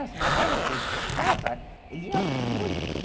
As matérias que ele gostava, ele ia muito bem.